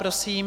Prosím.